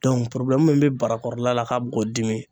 min bɛ bara kɔrɔla la ka bi ko dimi.